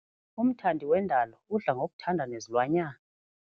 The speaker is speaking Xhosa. Umthandi wendalo udla ngokuthanda nezilwanyana.